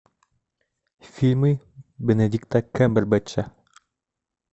фильмы бенедикта камбербэтча